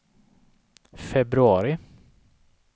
februari